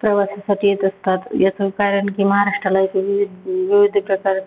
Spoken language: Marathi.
प्रवासासाठी येत असतात. ह्याच कारण की महाराष्ट्राला विविध विविध प्रकारे